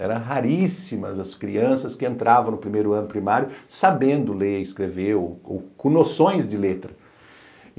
eram raríssimas as crianças que entravam no primeiro ano primário sabendo ler e escrever ou com com noções de letra.